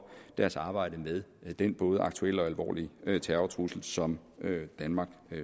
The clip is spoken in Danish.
deres arbejde med den både aktuelle og alvorlige terrortrussel som danmark